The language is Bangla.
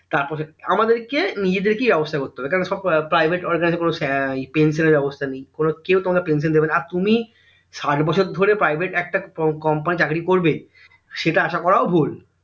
তারপরে আমাদেরকে নিজেদেরকে ব্যবস্থা করতে হবে কারণ সব private organisation কোনো pension এর ব্যবস্তা নেই কেউ তোমাকে pension দেবে না আর তুমি ষাইট বছর ধরে private একটা company তে চাকরি করবেসেটা আশা করাও ভুল